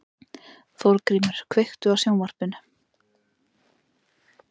Þórgrímur, kveiktu á sjónvarpinu.